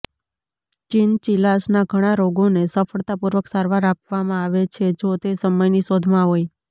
ચિનચિલાસના ઘણા રોગોને સફળતાપૂર્વક સારવાર આપવામાં આવે છે જો તે સમયની શોધમાં હોય